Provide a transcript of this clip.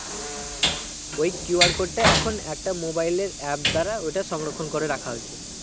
ওই QR code টা এখন একটা mobile এর app দ্বারা ওটা সংরক্ষণ করে রাখা হয়েছে